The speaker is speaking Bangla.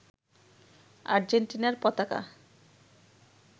আজেন্টিনার পতাকা